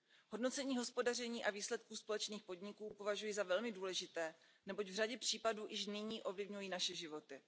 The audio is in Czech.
Hodnocení hospodaření a výsledků společných podniků považuji za velmi důležité, neboť v řadě případů již nyní ovlivňují naše životy.